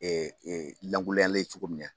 Ee lankolonyalen cogo min na